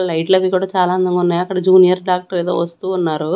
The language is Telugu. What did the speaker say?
లైట్లవి కూడా చాలా అందంగా ఉన్నాయి అక్కడ జూనియర్ డాక్టర్ ఏదో వస్తూ ఉన్నారు.